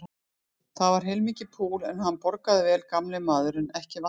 Þetta var heilmikið púl, en hann borgaði vel gamli maðurinn, ekki vantaði það.